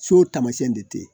So taamasiyɛn de tɛ ye